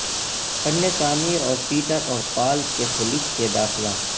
فن تعمیر اور پیٹر اور پال کیتھولک کے داخلہ